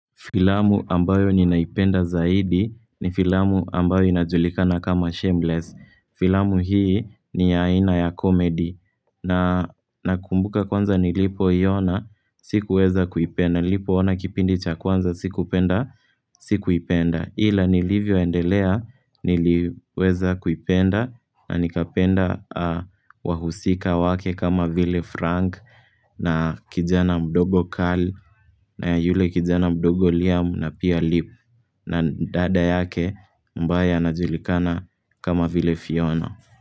Filamu ambayo ninaipenda zaidi ni filamu ambayo inajulikana kama shameless. Filamu hii ni ya aina ya komedi. Na nakumbuka kwanza nilipoiona, sikuweza kuipenda. Nilipoona kipindi cha kwanza, sikupenda, sikuipenda. Ila nilivyoendelea niliweza kuipenda na nikapenda wahusika wake kama Ville Frank na kijana mdogo Carl. Na yule kijana mdogo liamu na pia lip na dada yake ambae anajulikana kama vile Fiona.